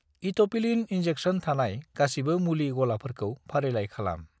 इट'पिलिन injection थानाय गासिबो मुलि गलाफोरखौ फारिलाइ खालाम।